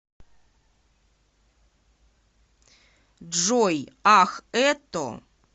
джой ах это